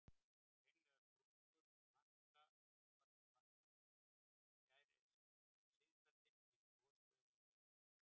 Greinilegar sprungur marka útmörk vatnanna, en fjær er sigdældin yfir gosstöðinni í Gjálp.